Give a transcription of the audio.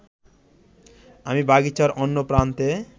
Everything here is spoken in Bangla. আমি বাগিচার অন্য প্রান্তে